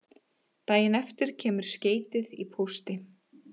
Daginn eftir kemur skeytið í pósti